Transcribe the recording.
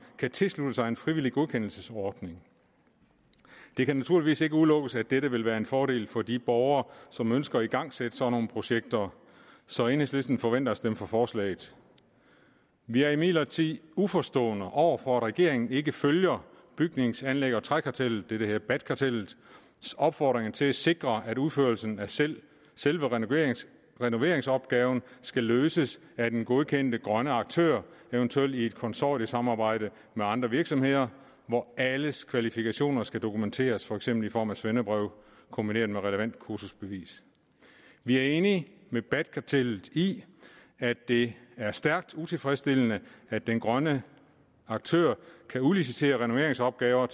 kan tilslutte sig en frivillig godkendelsesordning det kan naturligvis ikke udelukkes at dette vil være en fordel for de borgere som ønsker at igangsætte sådan nogle projekter så enhedslisten forventer at stemme for forslaget vi er imidlertid uforstående over for at regeringen ikke følger bygge anlægs og trækartellets det der hedder bat kartellet opfordringer til at sikre at udførelsen af selve selve renoveringsopgaven skal løses af den godkendte grønne aktør eventuelt i et konsortiesamarbejde med andre virksomheder hvor alles kvalifikationer skal dokumenteres for eksempel i form af svendebrev kombineret med relevant kursusbevis vi er enige med bat kartellet i at det er stærkt utilfredsstillende at den grønne aktør kan udlicitere renoveringsopgaver